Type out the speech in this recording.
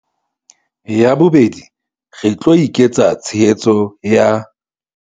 Ya bobedi, re tlo eketsa tshehetso ya